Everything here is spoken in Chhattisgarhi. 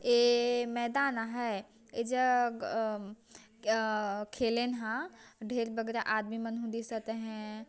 ए मैदान है ए जग ह आ खेलेन हा ढेर बगरा आदमी मन दिसत हे ।